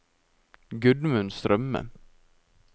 Gudmund Strømme